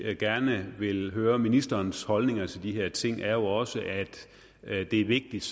gerne vil høre ministerens holdninger til de her ting er jo også at at det er vigtigt